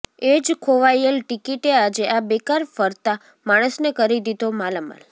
એ જ ખોવાયેલ ટીકીટે આજે આ બેકાર ફરતા માણસને કરી દીધો માલામાલ